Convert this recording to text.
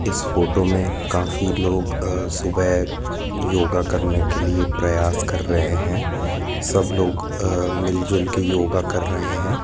इस फोटो में काफी लोग अह सुबह योगा करने के लिए प्रयास कर रहे है सब लोग अह मिल जुलके योगा कर रहे है।